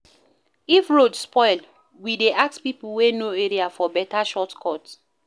If road spoil, we dey ask pipo wey know area for beta shortcut.